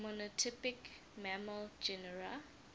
monotypic mammal genera